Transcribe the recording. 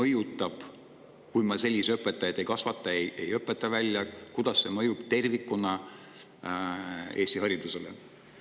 Ja kui me selliseid õpetajaid ei kasvata, ei õpeta välja, kuidas see mõjub tervikuna Eesti haridusele?